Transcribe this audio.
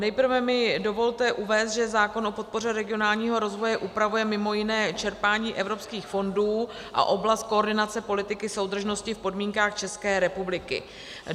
Nejprve mi dovolte uvést, že zákon o podpoře regionálního rozvoje upravuje mimo jiné čerpání evropských fondů a oblast koordinace politiky soudržnosti v podmínkách České republiky.